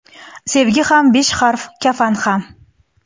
Sevgi ham besh harf, kafan ham.